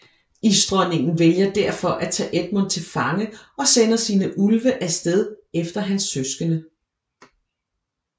Isdronningen vælger derfor at tage Edmund til fange og sender sine ulve af sted efter hans søskende